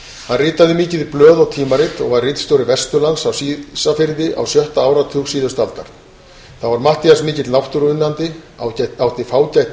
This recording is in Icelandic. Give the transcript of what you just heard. hann ritaði mikið í blöð og tímarit og var ritstjóri vesturlands á ísafirði á sjötta áratug síðustu aldar þá var matthías mikill náttúruunnandi átti fágætt